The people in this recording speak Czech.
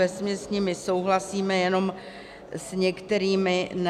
Vesměs s nimi souhlasíme, jenom s některými ne.